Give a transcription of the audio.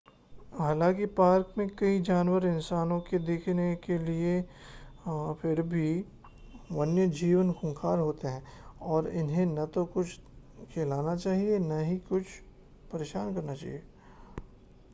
हालांकि पार्क में कई जानवर इंसानों के देखने के लिए हैं फिर भी वन्यजीव खूंखार होते हैं और इन्हें न तो कुछ खिलाना चाहिए या न ही परेशान करना चाहिए